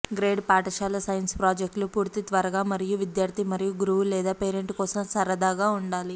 grade పాఠశాల science ప్రాజెక్టులు పూర్తి త్వరగా మరియు విద్యార్థి మరియు గురువు లేదా పేరెంట్ కోసం సరదాగా ఉండాలి